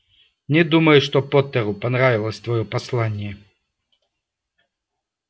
не думаю что поттеру понравилось твоё послание